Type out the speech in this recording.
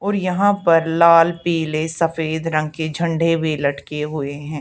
और यहां पर लाल पीले सफेद रंग के झंडे में लटके हुए हैं।